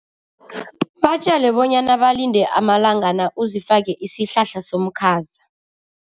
Batjele bonyana balinde amalangana, uzifake isihlahla somkhaza.